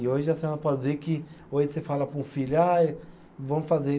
E hoje a senhora pode ver que hoje você fala para um filho, ah, vamos fazer.